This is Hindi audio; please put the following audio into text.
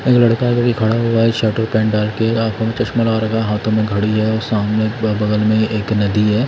एक लड़का कभी खड़ा हुआ है शर्ट और पेंट डाल के आंखों में चश्मा ला रहा है हाथों में घड़ी है और सामने बगल में एक नदी है।